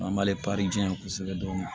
An b'ale di yan kosɛbɛ dɔɔnin